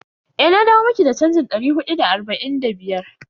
Eh, na dawo miki da chanjin dari hudu da arba'in da biyar.